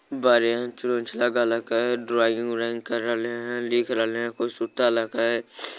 बड़े चोंच लगल हैं के ड्रॉइंग व्रोइंग करेल रहले हे लिख रेले हे कोई सुतालक हे के।